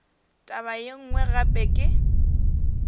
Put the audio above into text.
taba ye nngwe gape ke